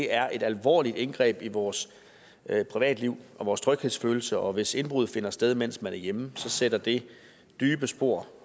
er et alvorligt indgreb i vores privatliv og vores tryghedsfølelse og hvis indbrud finder sted mens man er hjemme sætter det dybe spor